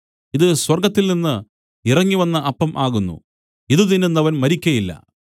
ഇതു സ്വർഗ്ഗത്തിൽനിന്ന് ഇറങ്ങിവന്ന അപ്പം ആകുന്നു ഇതു തിന്നുന്നവൻ മരിക്കുകയില്ല